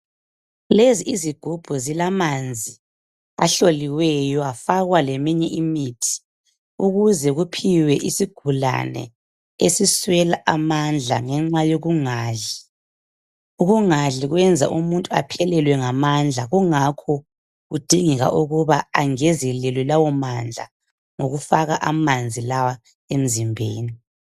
Lezi izigubhu zilamanzi ahloliweyo kwafakwa leminye imithi ukuze kuphiwe isigulane esiswela amandla ngenxa yokungadli. Ukungadli kwenza umuntu aphelelwe ngamandla kungakho kudingeka ukuba angezelelwe lawo mandla ngokufaka lawa emzimbeni.